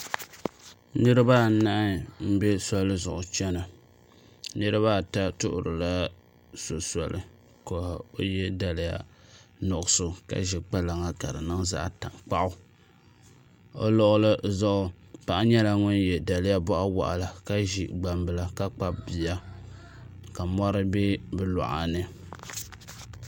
Niraba anahi n bɛ soli zuɣu chɛna niraba ata tuhurila so soli ka o yɛ daliya nuɣso ka ʒi kpalaŋa ka di niŋ zaɣ tankpaɣu o luɣuli zuɣu paɣa nyɛla ŋun yɛ daliya boɣa waɣala ka ʒi gbambila ka kpabi bia ka mɔri bɛ bi luɣa ni